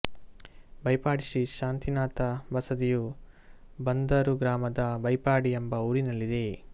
ಬೈಪಾಡಿ ಶ್ರೀ ಶಾಂತಿನಾಥ ಬಸದಿಯು ಬಂದಾರು ಗ್ರಾಮದ ಬೈಪಾಡಿ ಎಂಬ ಊರಿನಲ್ಲಿದೆ